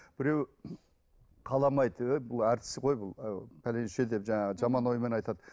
біреу қаламайды ей бұл әртіс қой бұл пәленше деп жаман оймен айтады